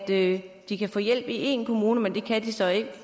at de kan få hjælp i én kommune men det kan de så